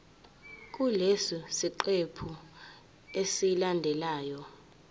kulesi siqephu esilandelayo